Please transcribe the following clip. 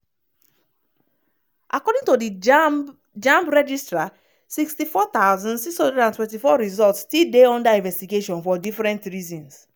according to di jamb jamb registrar 64 624 results still dey under investigation for different reasons.